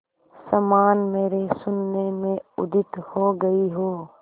समान मेरे शून्य में उदित हो गई हो